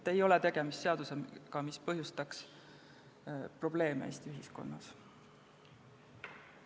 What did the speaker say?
Tegemist ei ole seadusega, mis põhjustaks Eesti ühiskonnas probleeme.